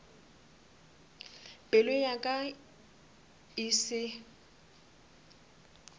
pelo ya ka e se